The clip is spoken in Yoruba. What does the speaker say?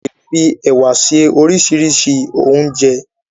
A le fi ẹ̀wà se oríṣiríṣi óúnjẹ.